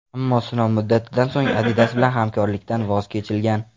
Ammo sinov muddatidan so‘ng Adidas bilan hamkorlikdan voz kechilgan.